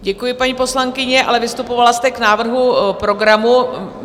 Děkuji, paní poslankyně, ale vystupovala jste k návrhu programu.